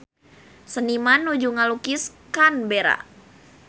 Seniman nuju ngalukis Canberra